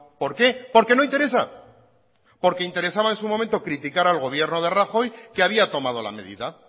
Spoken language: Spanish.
por qué porque no interesa porque interesaba en su momento criticar al gobierno de rajoy que había tomado la medida